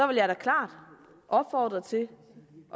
vil jeg da klart opfordre til